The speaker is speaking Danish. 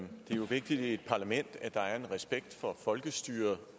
jo vigtigt i et parlament at der er respekt for folkestyret